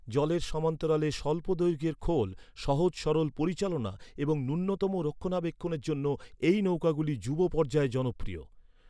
জলের সমান্তরালে স্বল্প দৈর্ঘ্যের খোল, সহজ সরল পরিচালনা এবং ন্যূনতম রক্ষণাবেক্ষণের জন্য এই নৌকাগুলি যুব পর্যায়ে জনপ্রিয়।